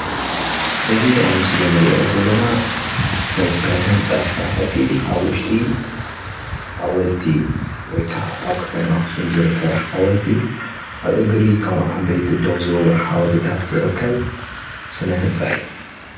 እዚ ኣብ ምስሊ እንርእዮ ዘለና ስነ ህንፃ ስርሓቲ ኣብ ውሽጢ ሓወልቲ ወይ ከዓ ኣብ ከተማ አክሱም ዝርከብ ሓወልቲ ኣብ እግሪ ቶም ዓብ ይቲ ደው ዝበሉ ሓወልትታት ዝርከብ ስነ ህንፃ እዩ።